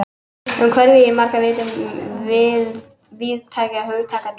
En umhverfi er í margra vitund víðtækara hugtak en svo.